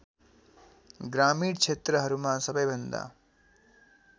ग्रामीण क्षेत्रहरूमा सबैभन्दा